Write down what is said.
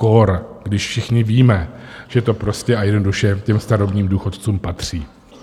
Kór když všichni víme, že to prostě a jednoduše těm starobním důchodcům patří.